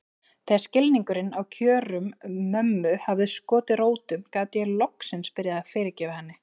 Þegar skilningurinn á kjörum mömmu hafði skotið rótum gat ég loksins byrjað að fyrirgefa henni.